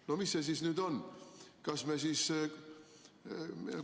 " No mis see siis nüüd on?